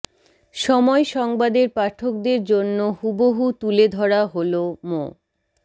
সময় সংবাদের পাঠকদের জন্য হুবহু তুলে ধরা হলো মো